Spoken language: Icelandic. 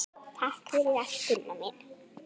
Takk fyrir allt, Gunna mín.